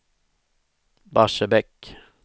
Barsebäck